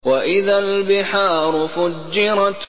وَإِذَا الْبِحَارُ فُجِّرَتْ